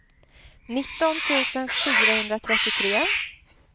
nitton tusen fyrahundratrettiotre